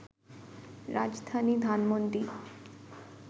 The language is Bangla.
রাজধানী ধানমণ্ডি